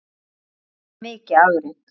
Það var mikið afrek.